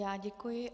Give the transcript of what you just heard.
Já děkuji.